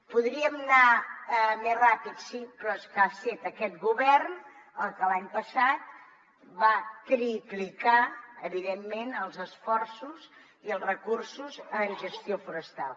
podríem anar més ràpid sí però és que ha estat aquest govern el que l’any passat va triplicar evidentment els esforços i els recursos en gestió forestal